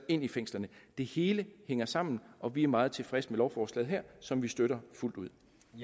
ind i fængslerne det hele hænger sammen og vi er meget tilfredse med lovforslaget her som vi støtter fuldt ud